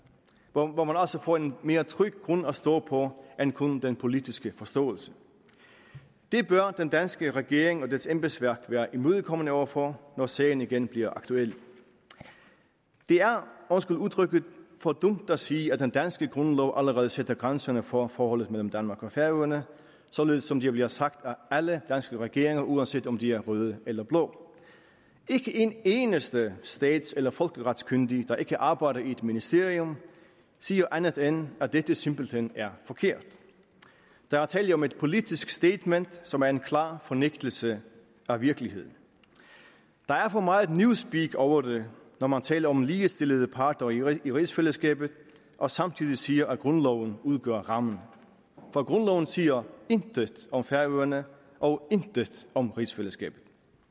og hvor man også får en mere tryg grund at stå på end kun den politiske forståelse det bør den danske regering og dets embedsværk være imødekommende over for når sagen igen bliver aktuel det er undskyld udtrykket for dumt at sige at den danske grundlov allerede sætter grænserne for forholdet mellem danmark og færøerne således som det bliver sagt af alle danske regeringer uanset om de er røde eller blå ikke en eneste stats eller folkeretskyndig der ikke arbejder i et ministerium siger andet end at dette simpelt hen er forkert der er tale om et politisk statement som er en klar fornægtelse af virkeligheden der er for meget newspeak over det når man taler om ligestillede parter i rigsfællesskabet og samtidig siger at grundloven udgør rammen for grundloven siger intet om færøerne og intet om rigsfællesskabet